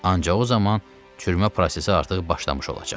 Ancaq o zaman çürümə prosesi artıq başlamış olacaq.